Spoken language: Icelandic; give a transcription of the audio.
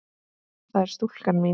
það er stúlkan mín.